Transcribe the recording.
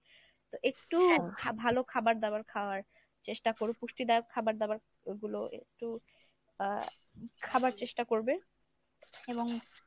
তো একটু ভা~ ভালো খাবার দাবার খাওয়ার চেষ্টা কোরো পুষ্টিদায়ক খাবারদাবার গুলো একটু আহ খাবার চেষ্টা করবে এবং